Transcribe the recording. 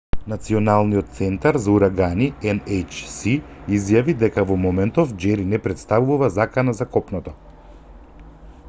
националниот центар за урагани nhc изјави дека во моментов џери не претставува закана за копното